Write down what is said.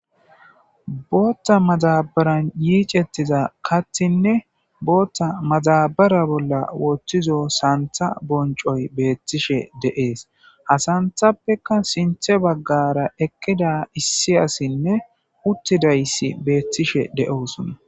bootta mazabaran yiicettiza kathinne bootta mazabara bolla woththizo santha boncoy beettishe deees ha santhappeka sinthe baggara ekkida issi asinne uttidayssi beettishe de7oosonna